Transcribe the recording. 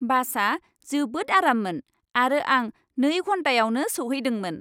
बासआ जोबोद आराममोन आरो आं नै घन्टायावनो सौहैदोंमोन।